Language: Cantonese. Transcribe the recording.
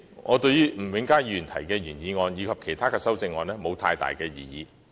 我對於吳永嘉議員動議的原議案，以及其他議員的修正案沒有太大異議。